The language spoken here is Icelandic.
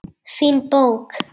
Fín bók.